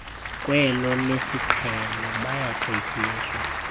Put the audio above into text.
kwelo lesiqhelo bayacetyiswa